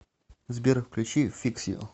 сбер включи фикс ю